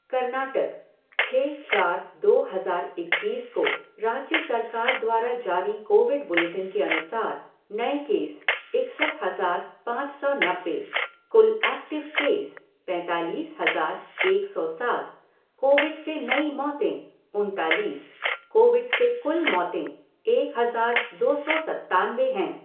कर्नाटकः छः चार दो हज़ार इक्कीस को राज्य सरकार द्वारा जारी कोविड बुलेटिन के अनुसार, नए केसः इकसठ हज़ार पाँच सौ नब्बे, कुल ऐक्टिव केसः पैंतालीस हज़ार एक सौ सात, कोविड से नई मौतेः उनतालीस, कोविड से कुल मौतेः एक हज़ार दो सौ सत्तानबे हैं।